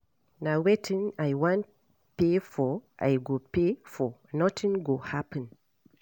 Na wetin I wan pay for I go pay for, nothing go happen